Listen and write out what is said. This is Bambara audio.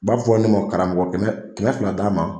b'a fɔ ne ma karamɔgɔ kɛmɛ kɛmɛ fila d'an ma.